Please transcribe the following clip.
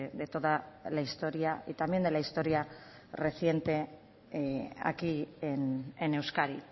de toda la historia y también de la historia reciente aquí en euskadi